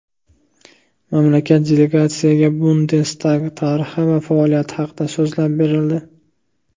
Mamlakat delegatsiyasiga Bundestag tarixi va faoliyati haqida so‘zlab berildi.